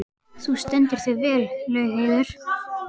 Þú stendur þig vel, Laugheiður!